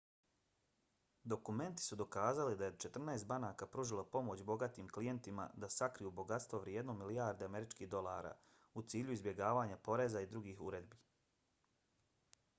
dokumenti su dokazali da je četrnaest banaka pružilo pomoć bogatim klijentima da sakriju bogatstvo vrijedno milijarde američkih dolara u cilju izbjegavanja poreza i drugih uredbi